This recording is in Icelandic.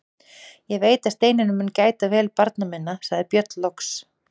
Ég veit að Steinunn mun gæta vel barna minna, sagði Björn loks.